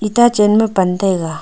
itta chen ma pan taiga.